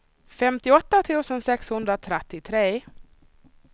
femtioåtta tusen sexhundratrettiotre